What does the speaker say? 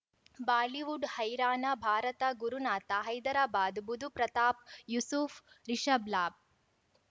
Bollywood ಹೈರಾಣ ಭಾರತ ಗುರುನಾಥ ಹೈದರಾಬಾದ್ ಬುಧ್ ಪ್ರತಾಪ್ ಯೂಸುಫ್ ರಿಷಬ್ ಲಾಬ್